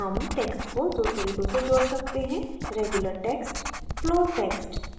हम text को दो तरीकों से जोड़ सकते हैं